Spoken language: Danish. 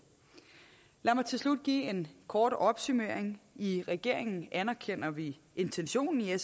lad mig til slut give en kort opsummering i regeringen anerkender vi intentionen i